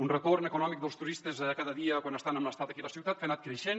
un retorn econòmic dels turistes cada dia que han estat aquí a la ciutat que ha anat creixent